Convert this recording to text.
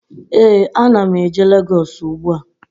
Ee, a na m eje Legọs ugbu a